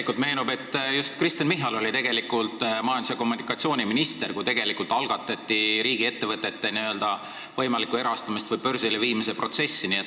Mulle meenub, et just Kristen Michal oli majandus- ja kommunikatsiooniminister siis, kui algatati riigiettevõtete võimaliku erastamise või börsile viimise protsess.